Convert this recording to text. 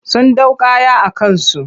Sun ɗau kaya a kansu.